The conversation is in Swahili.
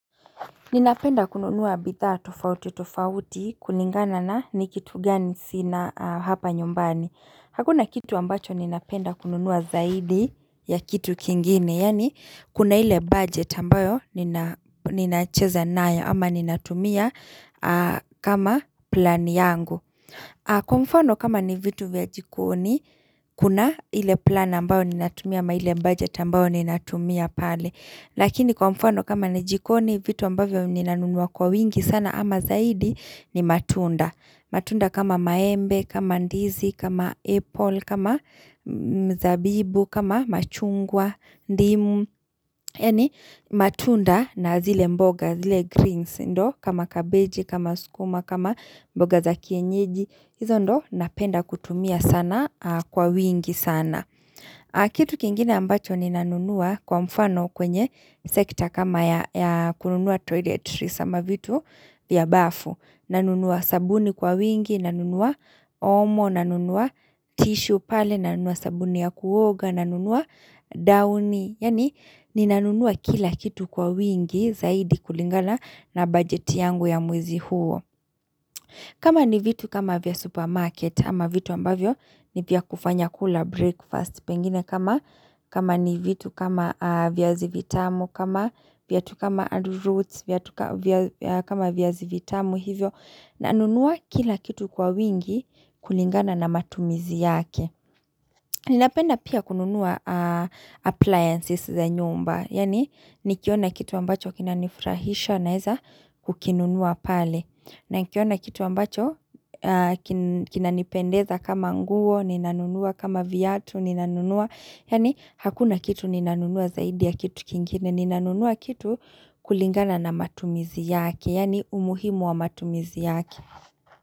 Ninapenda kununua bidhaa tofauti-tofauti kulingana na ni kitu gani sina hapa nyumbani. Hakuna kitu ambacho ninapenda kununua zaidi ya kitu kingine. Yani, kuna ile budget ambayo ninacheza nayo ama ninatumia kama plan yangu. Kwa mfano kama ni vitu vya jikoni, kuna ile plan ambayo ninatumia ama ile budget ambayo ninatumia pale. Lakini kwa mfano kama ni jikoni vitu ambavyo ni nanunua kwa wingi sana ama zaidi ni matunda. Matunda kama maembe, kama ndizi, kama apple, kama mzabibu, kama machungwa, ndimu. Yani matunda na zile mboga, zile greens ndo kama kabeji, kama sukuma, kama mboga za kienyeji hizo ndo napenda kutumia sana kwa wingi sana Kitu kingine ambacho ni nanunua kwa mfano kwenye msekta kama ya kununua toiletries ama vitu vya bafu nanunua sabuni kwa wingi, nanunua omo, nanunua tishu pale, nanunua sabuni ya kuoga, nanunua dauni Yani ninanunua kila kitu kwa wingi zaidi kulingana na budget yangu ya mwezi huo. Kama ni vitu kama vya supermarket ama vitu ambavyo ni vya kufanya kula breakfast pengine. Kama ni vitu kama viazi vitamu, kama viatu kama arrowroot, kama viazi vitamu hivyo. Nanunua kila kitu kwa wingi kulingana na matumizi yake. Ninapenda pia kununua appliances za nyumba. Yani nikiona kitu ambacho kinanifurahisha naeza kukinunua pale. Na nikiona kitu ambacho kinanipendeza kama nguo, ninanunua kama viatu, ninanunua. Yani hakuna kitu ninanunua zaidi ya kitu kingine. Ninanunua kitu kulingana na matumizi yake. Yani umuhimu wa matumizi yake.